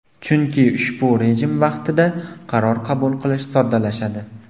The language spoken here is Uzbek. Chunki ushbu rejim vaqtida qaror qabul qilish soddalashadi.